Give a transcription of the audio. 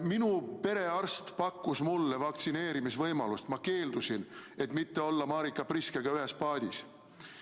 Minu perearst pakkus mulle vaktsineerimisvõimalust, ma keeldusin, et mitte olla Marika Priskega ühes paadis.